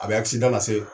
A bɛ lase